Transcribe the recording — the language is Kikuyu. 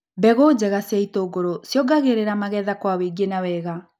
Mbegũ njega cia itũngũrũ ciongagĩrĩra magetha kwa wĩingĩ na wega.